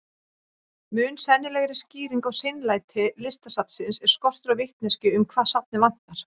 Mun sennilegri skýring á seinlæti Listasafnsins er skortur á vitneskju um hvað safnið vantar.